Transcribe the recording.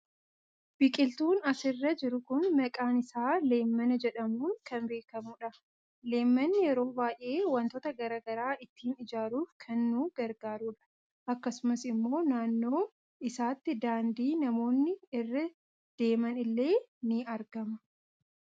Biqiltuun asirra jiru kun maqaan isaa leemmana jedhamuun kan beekamuudha. Leemmanni yeroo baayee waantota garaagaraa ittiin ijaaruuf kan nu gargaarudha. Akkasuma immoo naannoo isaatti daandii namoonni irra deeman illee ni argama.